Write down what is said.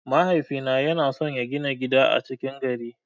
Mahaifina yana son ya gina gida a cikin gari.